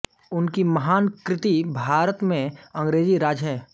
उनकी महान कृति भारत में अंग्रेज़ी राज है